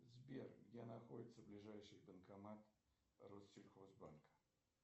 сбер где находится ближайший банкомат россельхоз банка